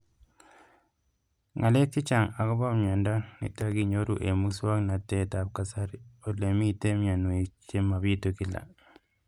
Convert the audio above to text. Ng'alek chechang' akopo miondo nitok inyoru eng' muswog'natet ab kasari ole mito mianwek che mapitu kila